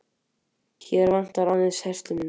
Hér vantar aðeins herslumuninn.